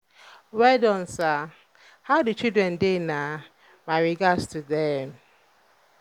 um well don sir. how the children dey na? my regards to dem.